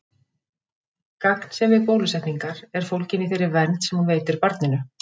Gagnsemi bólusetningar er fólgin í þeirri vernd sem hún veitir barninu.